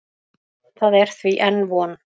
Það er því enn von.